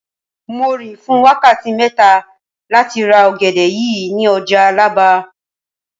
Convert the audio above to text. Mo rìn fún wákàtí mẹ́ta láti ra ọ̀gẹ̀dẹ̀ yìí ní ọjà Àlàbá